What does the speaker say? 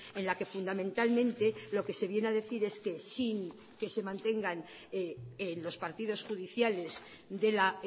en la que fundamentalmente lo que se viene a decir es que sin que se mantengan los partidos judiciales de la